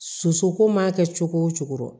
Sosoko mana kɛ cogo o cogo